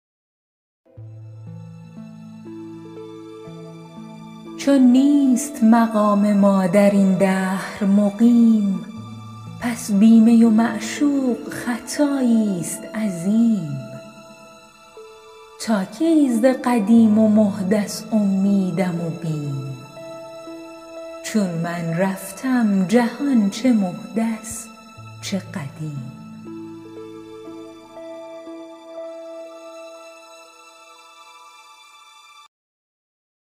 چون نیست مقام ما در این دهر مقیم پس بی می و معشوق خطاییست عظیم تا کی ز قدیم و محدث امیدم و بیم چون من رفتم جهان چه محدث چه قدیم